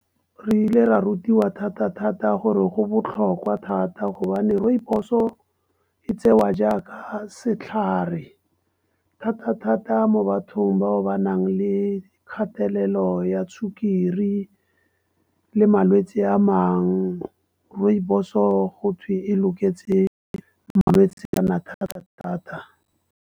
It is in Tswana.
Re ile ra rutiwa thata-thata gore go botlhokwa thata gobane rooibos, e tsewa jaaka setlhare. Thata-thata mo bathong bao ba nang le kgatelelo ya sukiri, le malwetse a mangwe rooibos go twe e loketse malwetse a thata-thata.